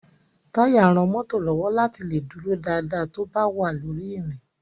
Táyà ran mọ́tò lọ́wọ́ láti lè dúró dáadáa tó bá wà lórí ìrìn.